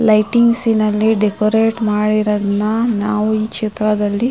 lightings ನಲ್ಲಿ decorate ಮಾಡಿರೊದ್ನ್ ನಾವು ಈ ಚಿತ್ರದಲ್ಲಿ--